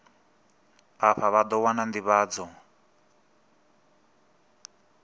afha vha ḓo wana nḓivhadzo